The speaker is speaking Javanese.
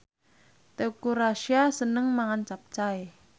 Teuku Rassya seneng mangan capcay